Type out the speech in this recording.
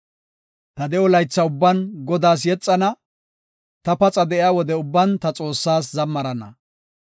Ta de7o laytha ubban Godaas yexana; ta paxa de7iya wode ubban ta Xoossaa zammarana.